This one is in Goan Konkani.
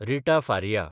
रिटा फारिया